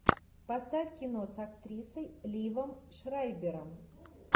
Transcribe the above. поставь кино с актрисой ливом шрайбером